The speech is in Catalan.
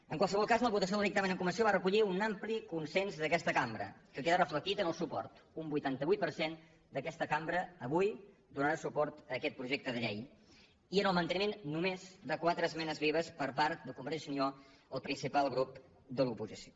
en qualsevol cas la votació del dictamen en comissió va recollir un ampli consens d’aquesta cambra que queda reflectit en el suport un vuitanta vuit per cent d’aquesta cambra avui donarà suport a aquest projecte de llei i en el manteniment només de quatre esmenes vives per part de convergència i unió el principal grup de l’oposició